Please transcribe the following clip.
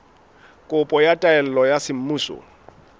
kopo ya taelo ya semmuso